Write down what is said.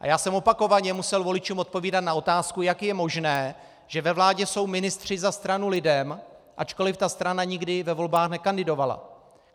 A já jsem opakovaně musel voličům odpovídat na otázku, jak je možné, že ve vládě jsou ministři za stranu LIDEM, ačkoliv ta strana nikdy ve volbách nekandidovala.